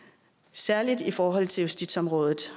særlig i forhold til justitsområdet